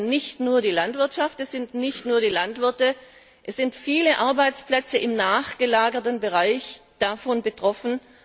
Es ist nicht nur die Landwirtschaft, es sind nicht nur die Landwirte viele Arbeitsplätze im nachgelagerten Bereich sind davon betroffen.